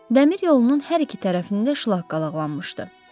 Dəmir yolunun hər iki tərəfində şlaq qalaqlanmışdı.